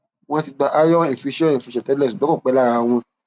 wọọn ti gba iron infusion infusion tẹlẹ ṣùgbọn kò pẹ lára wọn